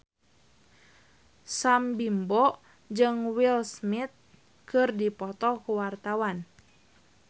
Sam Bimbo jeung Will Smith keur dipoto ku wartawan